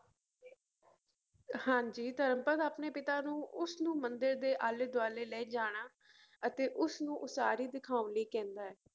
ਹਾਂਜੀ ਧਰਮਪਦ ਆਪਣੇ ਪਿਤਾ ਨੂੰ ਉਸਨੂੰ ਮੰਦਿਰ ਦੇ ਆਲੇ ਦੁਆਲੇ ਲੈ ਜਾਣਾ ਅਤੇ ਉਸਨੂੰ ਉਸਾਰੀ ਦਿਖਾਉਣ ਲਈ ਕਹਿੰਦਾ ਹੈ।